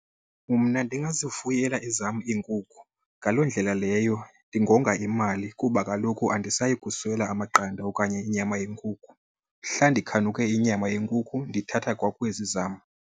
Mna ndingazifuyela ezam iinkukhu. Ngaloo ndlela leyo ndingonga imali kuba kaloku andisayi kuswela amaqanda okanye inyama yenkukhu. Mhla ndikhanuke inyama yenkukhu ndithatha kwakwezi zam.